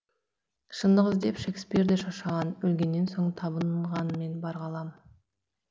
шындық іздеп шекспир де шаршаған өлгеннен соң табынғанмен бар ғалам